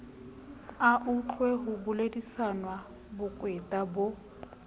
autlwe ho bolediswa bokweta bo